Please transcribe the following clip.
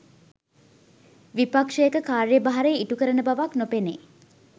විපක්ෂයක කාර්ය භාරය ඉටු කරන බවක් නොපෙනේ